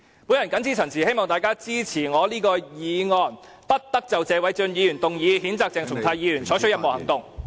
我謹此陳辭，希望大家支持我提出的"不得就謝偉俊議員動議的譴責議案再採取任何行動"......